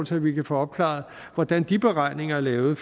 så vi kan få opklaret hvordan de beregninger er lavet